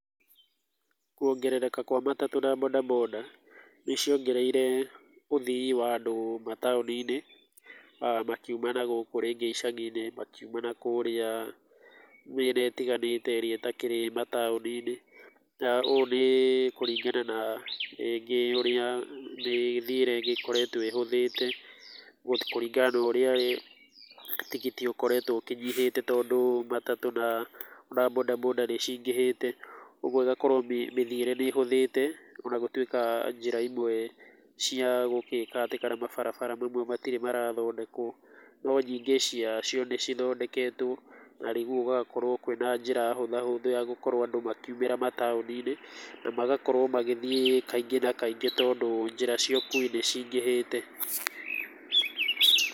Kuongerereka kwa matatũ na boda boda nĩciongereire ũthii wa andũ mataũni-inĩ, makiuma na gũkũ icagi-inĩ, makiuma nakũrĩa mĩena ĩtiganĩte ĩrĩa ĩtakĩrĩ mataũni-inĩ. Ũũ nĩ kũringana na rĩngĩ ũrĩa mĩthiĩre ĩgĩkoretwo ĩhũthĩte, kũringana na ũrĩa tigiti ũkoretwo ũnyihĩte tondũ matatũ na boda boda nĩcingĩhĩte, ũguo ĩgakorwo mĩthiĩre nĩhũthĩte, onagũtuĩka njĩra imwe cia gũgĩka atĩ, kana mabarabara mamwe matirĩ marathondekwo. No nyingĩ ciacio nĩcithondeketwo na rĩu gũgakorwo kwĩna njĩra hũthahũthũ ya gũkorwo andũ makiumĩra mataũni-inĩ, na magakorwo magĩthiĩ kaingĩ na kaingĩ tondũ njĩra cia ũkuwi nĩcingĩhĩte.